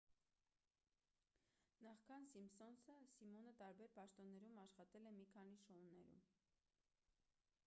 նախքան սիմփսոնսը սիմոնը տարբեր պաշտոններում աշխատել է մի քանի շոուներում